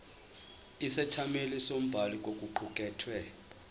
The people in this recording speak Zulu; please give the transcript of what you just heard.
isethameli nombhali kokuqukethwe